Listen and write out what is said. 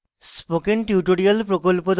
spoken tutorial প্রকল্প the